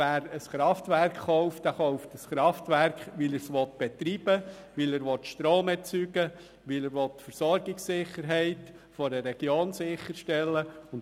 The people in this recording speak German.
Wer ein Kraftwerk kauft, tut das, weil er es betreiben, Strom erzeugen oder die Versorgungssicherheit einer Region sicherstellen will.